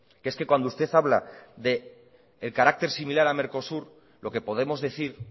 que es que cuando usted habla de el carácter similar a mercosur lo que podemos decir